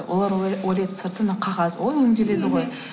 олар ойлайды сырты қағаз ой өңделеді ғой